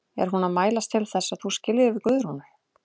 Er hún að mælast til þess að þú skiljir við Guðrúnu?